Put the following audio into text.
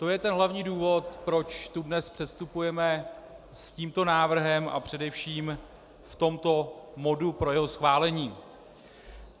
To je ten hlavní důvod, proč tu dnes předstupujeme s tímto návrhem a především v tomto modu pro jeho schválení.